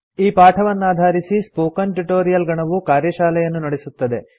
ಈ ಪಾಠವನ್ನಾಧಾರಿಸಿ spoken tutorial ಗಣವು ಕಾರ್ಯಶಾಲೆಯನ್ನು ನಡೆಸುತ್ತದೆ